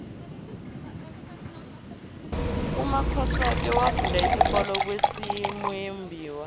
umakhosoke wafunda isikolo kwasimuyembiwa